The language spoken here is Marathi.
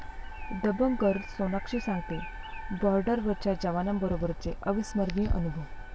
दबंग गर्ल सोनाक्षी सांगतेय बॉर्डरवरच्या जवानांबरोबरचे अविस्मरणीय अनुभव